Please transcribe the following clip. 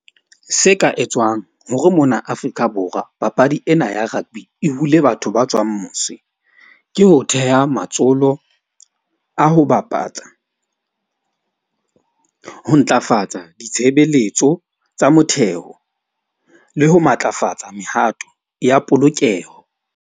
Se ka etswang hore mona Afrika Borwa papadi ena ya rugby e hule batho ba tswang mose. Ke ho theha matsholo a ho bapatsa ho ntlafatsa ditshebeletso tsa motheo le ho matlafatsa mehato ya polokeho.